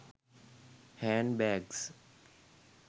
hand bags